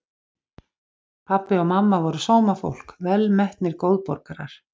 Pabbi og mamma voru sómafólk, velmetnir góðborgarar.